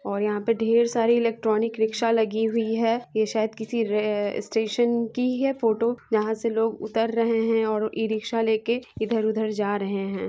और यहां पर ढेर सारी इलेक्ट्रॉनिक रिक्शा लगी हुई है ये शायद किसी रेलवे स्टेशन की है फोटो यहां से लोग उतर रहे हैं और ई-रिक्शा लेके इधर-उधर जा रहे हैं।